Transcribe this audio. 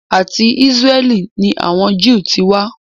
Àti Ísráẹ́lì ni àwọn Jew ti wá.